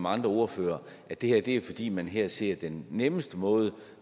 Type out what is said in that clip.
andre ordførere at det er fordi man her ser den nemmeste måde